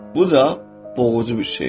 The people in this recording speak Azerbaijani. Bu da boğucu bir şey idi.